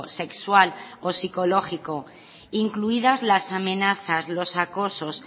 sexual o psicológico incluidas las amenazas los acosos